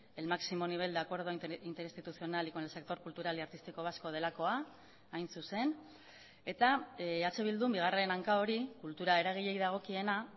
el máximo nivel de acuerdo interinstitucional y con el sector cultural y artístico vasco delakoa hain zuzen eta eh bildun bigarren hanka hori kultura eragileei dagokiena